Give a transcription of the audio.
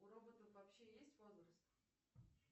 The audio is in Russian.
у роботов вообще есть возраст